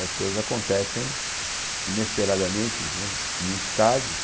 As coisas acontecem inesperadamente né, em muitos casos.